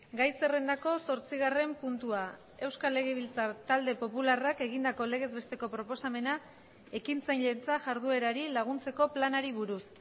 gai zerrendako zortzigarren puntua euskal legebiltzar talde popularrak egindako legez besteko proposamena ekintzailetzajarduerari laguntzeko planari buruz